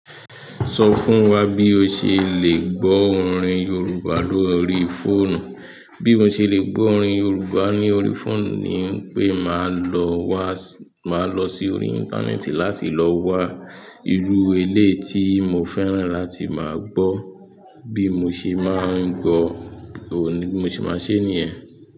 Sọ fún wa bí o ṣe lẹ́ gbọ́ orin Yorùbá lórí fóònù. Bí mo ṣe lè gbọ́ orin Yorùbá ní orí fóònù ni pé màá lọ wá, màá lọ sí orí íńtánẹ́ẹ̀tì láti lọ wa ìrú eléyi tí mo fẹ́ràn láti máa gbọ́. Bí mo ṣe máa ń gbọ, òní bi mo ṣe máa ṣe ní yẹ̀n.